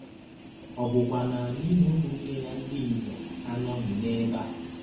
Ọ̀ bụkwa na anyị na ụmụnne ya ndị inyọm anọghị n’ebe a? ”